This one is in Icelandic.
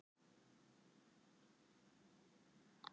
Sautján skotnir í Mexíkó